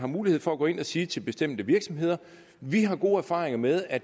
mulighed for at gå ind og sige til bestemte virksomheder vi har gode erfaringer med at